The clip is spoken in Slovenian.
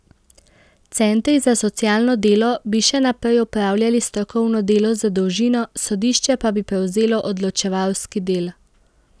Centri za socialno delo bi še naprej opravljali strokovno delo za družino, sodišče pa bi prevzelo odločevalski del.